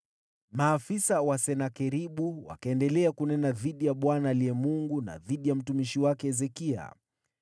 Maafisa wa Senakeribu wakaendelea kunena dhidi ya Bwana aliye Mungu na dhidi ya mtumishi wake Hezekia.